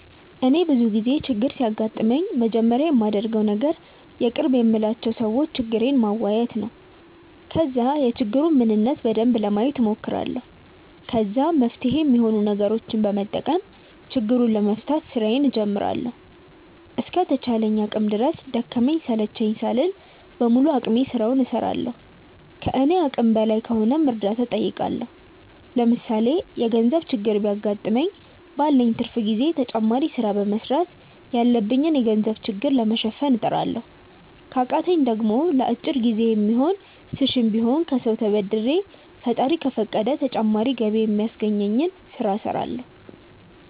እኔ ብዙ ጊዜ ችግር ሲያጋጥመኝ መጀመሪያ ማደርገው ነገር የቅርብ የምላቸው ሰዎች ችግሬን ማዋየት ነው። ከዛ የችግሩን ምንነት በደንብ ለማየት ሞክራለሁ። ከዛ መፍትሄ ሚሆኑ ነገሮችን በመጠቀም ችግሩን ለመፍታት ስራዬን ጀምራለሁ። እስከ ተቻለኝ አቅም ድረስ ደከመኝ ሰለቸኝ ሳልል በሙሉ አቅሜ ስራውን እስራለሁ። ከኔ አቅም በላይ ከሆነም እርዳታ ጠይቃለሁ። ለምሳሌ የገርዘብ ችግር ቢያገጥመኝ ባለኝ ትርፍ ጊዜ ተጨማሪ ስራ በመስራት ያለብኝን የገንዘብ ችግር ለመሸፈን እጥራለሁ። ከቃተኝ ደሞ ለአጭር ጊዜ የሚሆን ስሽም ቢሆን ከሰው ተበድሬ ፈጣሪ ከፈቀደ ተጨማሪ ገቢ ሚያስገኘኝን ስለ እስራለሁ።